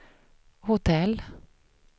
hotell